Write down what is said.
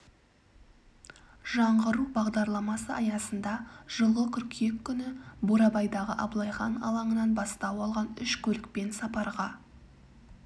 жаңғыру бағдарламасы аясында жылғы қыркүйек күні бурабайдағы абылай хан алаңынан бастау алған үш көлікпен сапарға